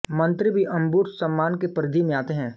मंत्री भी अंबुड्समान की परिधि में आते हैं